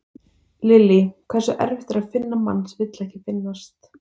Lillý: Hversu erfitt er að finna mann sem vill ekki finnast?